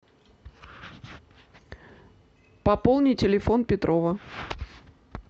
пополни телефон петрова